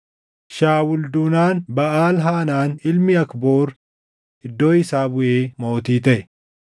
Shaawul duunaan Baʼaal-Haanaan ilmi Akboor iddoo isaa buʼee mootii taʼe.